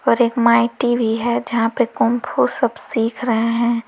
और एक माईटी भी है जहां पर कुम्फू सब सीख रहे हैं।